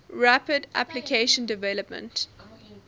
rapid application development